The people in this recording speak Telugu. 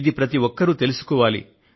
ఇది ప్రతి ఒక్కరూ తెలుసుకోవాలి